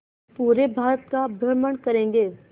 पूरे भारत का भ्रमण करेंगे